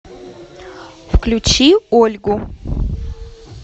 включи ольгу